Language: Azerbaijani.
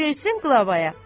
Versin qlavaya.